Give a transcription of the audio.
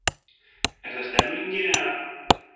Er það stemningin eða?